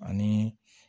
Ani